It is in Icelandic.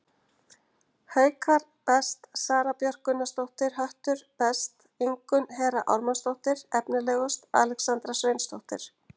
Haukar: Best: Sara Björk Gunnarsdóttir Höttur: Best: Ingunn Hera Ármannsdóttir Efnilegust: Alexandra Sveinsdóttir